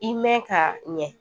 I mɛn ka ɲɛ